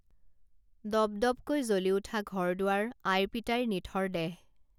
দপদপকৈ জ্বলি উঠা ঘৰ দুৱাৰ আই পিতাইৰ নিথৰ দেহ